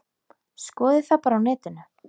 Skoðið það bara á netinu.